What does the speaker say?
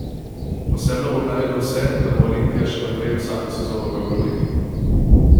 Osebno bom naredil vse, da bo Olimpija še naprej vsako sezono v evroligi.